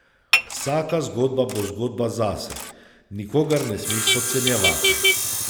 Vsaka zgodba bo zgodba zase, nikogar ne smeš podcenjevati.